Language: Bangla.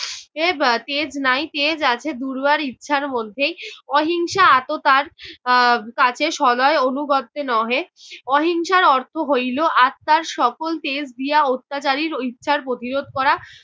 এর তেজ নাই, তেজ আছে দুর্বার ইচ্ছার মধ্যেই। অহিংসা আততার আহ কাছে সনয় অনুগত্যে নহে। অহিংসার অর্থ হইল আত্মার সকল তেজ দিয়া অত্যাচারীর ইচ্ছার প্রতিরোধ করা।